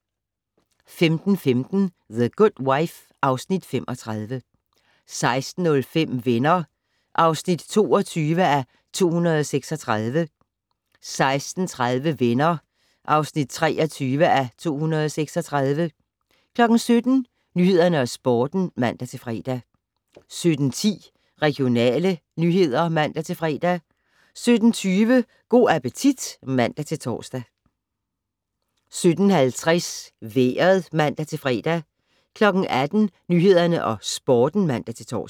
15:15: The Good Wife (Afs. 35) 16:05: Venner (22:236) 16:30: Venner (23:236) 17:00: Nyhederne og Sporten (man-fre) 17:10: Regionale nyheder (man-fre) 17:20: Go' appetit (man-tor) 17:50: Vejret (man-fre) 18:00: Nyhederne og Sporten (man-tor)